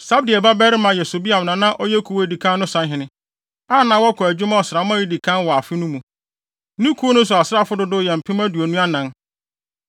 Sabdiel babarima Yasobeam na na ɔyɛ kuw a edi kan no sahene, a na wɔkɔ adwuma ɔsram a edi kan wɔ afe no mu. Na ne kuw no asraafodɔm dodow yɛ mpem aduonu anan (24,000).